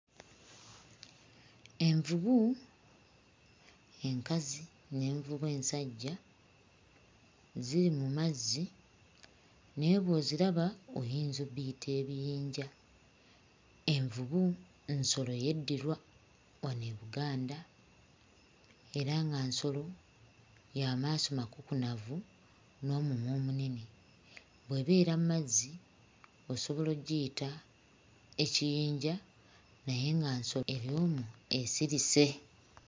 Envubu enkazi n'envubu ensajja ziri mu mazzi naye bw'oziraba oyinza obbiyita ebiyinja. Envubu nsolo yeddirwa wano e Buganda era nga nsolo ya maaso makukunavu n'omumwa omunene. Bw'ebeera mmazzi osobola oggiyita ekiyinja naye nga nsolo eri omwo esirise.